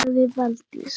sagði Valdís